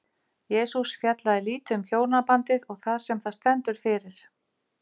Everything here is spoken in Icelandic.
Jesús fjallaði lítið um hjónabandið og það sem það stendur fyrir.